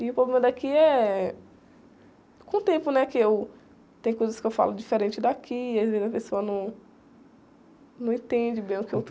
E o problema daqui é... Com o tempo, né? Que eu... Tem coisas que eu falo diferente daqui, às vezes a pessoa não... Não entende bem o que eu